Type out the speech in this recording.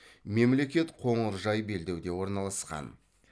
мемлекет қоңыржай белдеуде орналасқан